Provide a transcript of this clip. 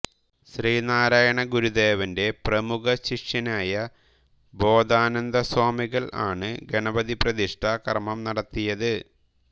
ശ്രീനാരായണ ഗുരുദേവന്റെ പ്രമുഖ ശിഷ്യനായ ബോധാനന്ദസ്വാമികൾ ആണ്ഗണപതിപ്രതിഷ്ഠ കർമ്മം നടത്തിയത്